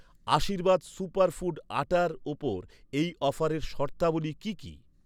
আশীর্বাদ super food আটার ওপর এই অফারের শর্তাবলী কি কি?